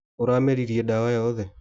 Ũrameririe dawa yothe.